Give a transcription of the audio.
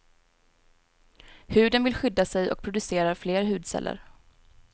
Huden vill skydda sig och producerar fler hudceller.